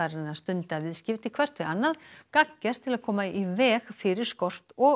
að stunda viðskipti hvert við annað gagngert til að koma í veg fyrir skort og